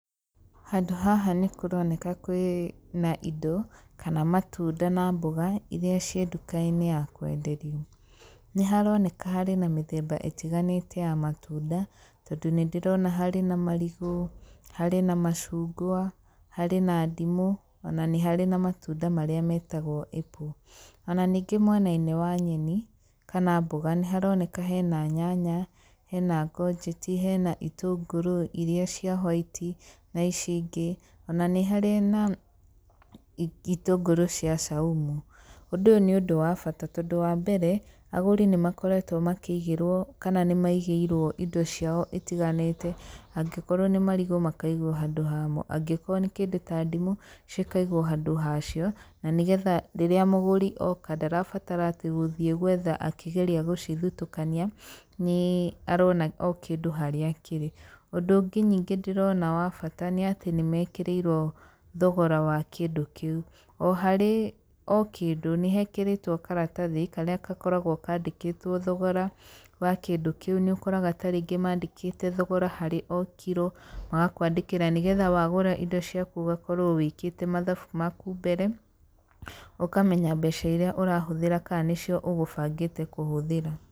Handũ haha nĩ kũroneka kwĩna indo, kana matunda na mboga iria ciĩ ndukainĩ ya kwenderio. Nĩ haroneka harĩ na mĩthemba ĩtiganĩte ya matunda, Tondũ nĩ ndĩrona harĩ na marigũ, harĩ na macungwa, harĩ ma ndimũ, ona nĩ harĩ na matunda marĩa metagwo apple. Ona ningĩ mwenainĩ wa nyeni, kana mboga nĩ haroneka hena nyanya, hena ngonjeti, hena itũngũrũ iria cia white na ici ingĩ, ona nĩ harĩ na itũngũrũ cia Csaumu. Ũndũ ũyũ nĩ ũndũ wa bata tondũ wambere agũri nĩ makoretwo makĩigĩrwo kana nĩ maigĩirwo indo ciao itiganĩte, angĩkorwo nĩ marigũ makaigwo handũ hamo, angĩkorwo nĩ kĩndũ ta ndimũ cikaigwo handũ hacio, na nĩgetha rĩrĩa mũgũri oka ndarabatara atĩ gũthiĩ gwetha akĩgeria gũcithutũkania, nĩ arona o kĩndũ harĩa kĩrĩ, ũndũ ũngĩ ningĩ ndĩrona wa bata nĩ atĩ nĩ mekĩrĩirwo thogora wa kĩndũ kĩu. Oharĩ o kĩndũ nĩ hekĩrĩtwo karatathi karĩa gakoragwo kandĩkĩtwo thogora wa kĩndũ kĩu, nĩ ũkoraga ta rĩngĩ mandĩkĩte thogora harĩ o kiro, magakwandĩkĩra nĩgetha wgũra indo ciaku ũgakorwo wĩkĩte mathabu maku mbere ũkamenya mbeca iria ũrahũthĩra kana nĩcio ũgũbangĩte kũhũthĩra.